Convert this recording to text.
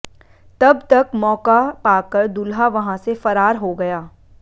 तब तक मौका पाकर दूल्हा वहां से फरार हो गया